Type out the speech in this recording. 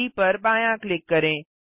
जी पर बायाँ क्लिक करें